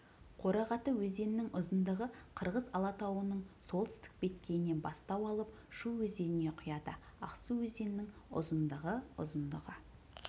қорағаты өзенінің ұзындығы қырғыз алатауының солтүстік беткейінен бастау алып шу өзеніне құяды ақсу өзенінің ұзындығы ұзындығы